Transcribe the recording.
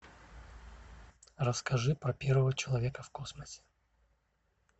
расскажи про первого человека в космосе